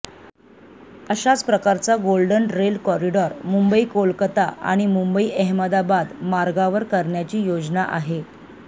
अशाच प्रकारचा golden rail corridor Mumbai Kolkata आणि मुंबई अहमदाबाद मार्गावर करण्याची योजना आहे